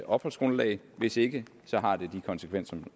opholdsgrundlag hvis ikke har det de konsekvenser